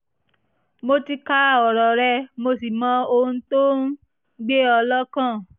mo ti ka ọ̀rọ̀ rẹ mo sì mọ ohun tó ń gbé ọ́ lọ́kàn